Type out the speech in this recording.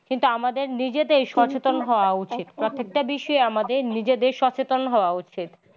কিন্তু আমাদের নিজেদের সচেতন হওয়া উচিৎ প্রত্যেকটা বিষয়ে আমাদের নিজেদের সচেতন হওয়া উচিত।